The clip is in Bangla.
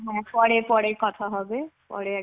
হ্যা পরে পরে কথা হবে. পরে